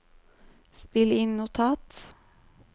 spill inn notat